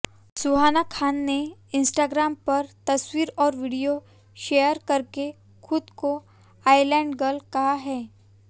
सुहाना खान ने इंस्टाग्राम पर तस्वीर और वीडियो शेयर करके खुद को आईलैंडगर्ल कहा है